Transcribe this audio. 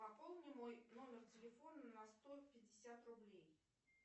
пополни мой номер телефона на сто пятьдесят рублей